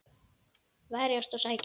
Verjast og sækja.